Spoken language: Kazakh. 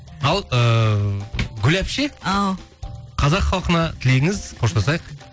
ал ыыы гүл апше ау қазақ халқына тілегіңіз қоштасайық